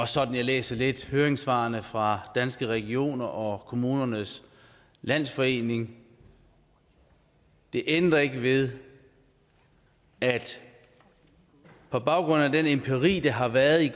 sådan jeg læser læser høringssvarene fra danske regioner og kommunernes landsforening det ændrer ikke ved at på baggrund af den empiri der har været i